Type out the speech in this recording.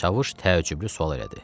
Çavuş təəccüblü sual elədi.